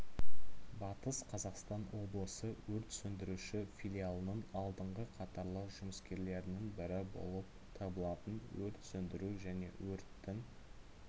батыс қазақстан облысы өрт сөндіруші филиалының алдыңғы қатарлы жұмыскерлерінің бірі болып табылатын өрт сөндіру және өрттің